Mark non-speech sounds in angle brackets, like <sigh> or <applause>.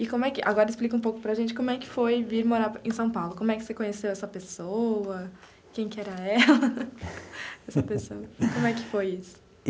E como é que, agora explica um pouco para gente como é que foi vir morar em São Paulo, como é que você conheceu essa pessoa, quem que era ela, <laughs> essa pessoa, como é que foi isso?